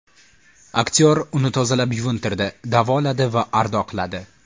Aktyor uni tozalab yuvintirdi, davoladi va ardoqladi.